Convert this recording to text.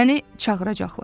Məni çağıracaqlar.